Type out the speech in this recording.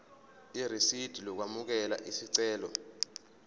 irisidi lokwamukela isicelo